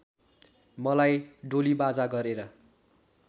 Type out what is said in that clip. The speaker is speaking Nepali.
मलाई डोलीबाजा गरेर